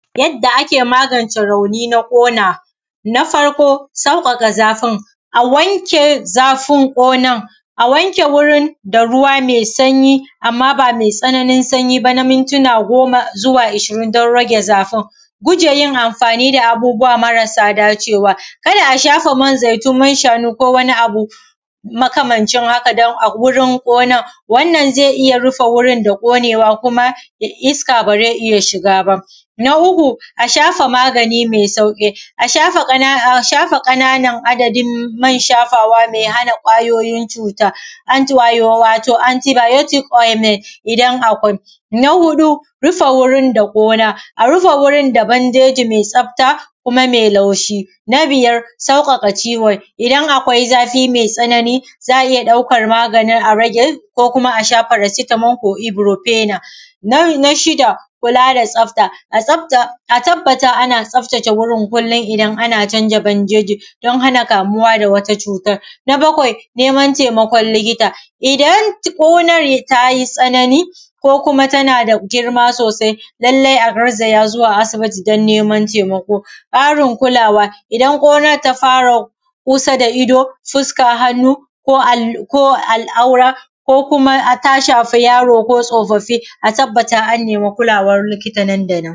yadda ake magance rauni na ƙona na farko sauƙaƙa zafin a wanke zafin ƙonan a wanke wurin da ruwa mai sanyi amma ba mai tsananin sanyi ba na mintina goma zuwa ashirin ɗan rage zafin guje yin amfani da abubuwa marasa da cewa kar a shafa man zaitun man shanu kowane abu makamancin haka don a gurin ƙonan wannan zai iya rufe gurin da ƙonewa kuma iska ba zai iya shiga ba na uku a shafa magani mai sauƙi a shafa ƙananan adadin man shafawa mai hana ƙwayoyin cuta wato antibiotics ointment in akwai na huɗu rufe gurin da ƙona a rufe gurin da bandeji mai tsafta kuma mai laushi na biyar sauƙaƙa ciwon idan akwai zafi mai tsanani za a iya ɗaukar magani a rage ko kuma a sha paracetamol ko ibrofena na shida kula da tsafta a tabbata a na tsaftace gurin kullum idan ana canja bandeji don hana kamuwa da wata cutan na bakwai neman taimakon likita idar ƙona ta yi tsanani ko kuma ta na da girma sosai lallai a garzaya zuwa asibiti don neman taimako ƙarin kulawa idan konar ta fara kusa da ido fuska hannu ko alaura ko kuma ta shafi yaro ko tsofaffi a tabbata a nemi kulawar likita nan da nan